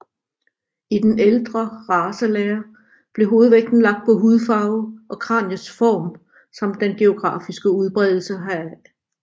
I den ældre racelære blev hovedvægten lagt på hudfarve og kraniets form samt den geografiske udbredelse heraf